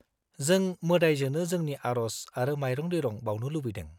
-जों मोदायजोनो जोंनि आरज आरो माइरं-दैरं बावनो लुबैदों।